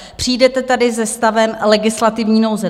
Přijdete tady se stavem legislativní nouze.